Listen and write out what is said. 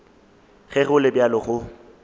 ge go le bjalo go